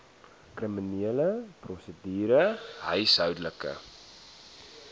kriminele prosedure huishoudelike